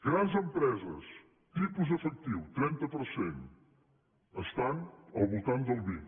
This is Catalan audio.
grans empreses tipus efectiu trenta per cent estan al voltant del vint